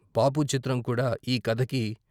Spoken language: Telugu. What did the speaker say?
బాపు చిత్రం కూడా ఈ కథకి